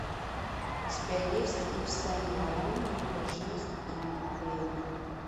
у тебя есть ив сен лоран его жизнь и его время